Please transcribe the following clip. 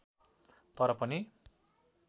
तर पनि